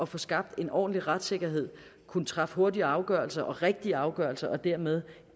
få skabt en ordentlig retssikkerhed kunne træffe hurtige afgørelser og rigtige afgørelser og dermed